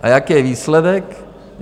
A jaký je výsledek?